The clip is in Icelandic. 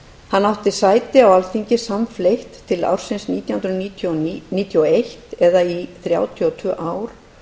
hann átti sæti á alþingi samfleytt til nítján hundruð níutíu og eitt eða í þrjátíu og tvö ár